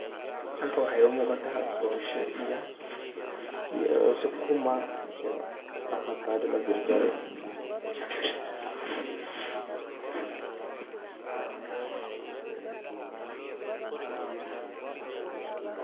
Halkaan waxaa iga muqataa, bosha iyo sukuma iyo afakada lajar jare.